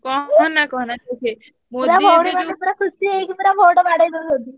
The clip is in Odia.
କହନା କହନା।